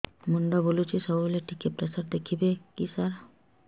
ମୁଣ୍ଡ ବୁଲୁଚି ସବୁବେଳେ ଟିକେ ପ୍ରେସର ଦେଖିବେ କି ସାର